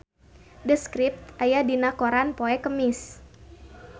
The Script aya dina koran poe Kemis